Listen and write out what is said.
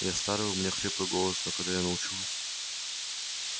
я стар и у меня хриплый голос но когда я научу вас